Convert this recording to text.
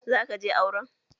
Za ka je auren?